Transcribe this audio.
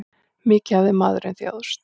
Mikið hafði maðurinn þjáðst.